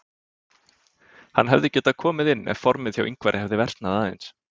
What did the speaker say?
Hann hefði getað komið inn ef formið hjá Ingvari hefði versnað aðeins.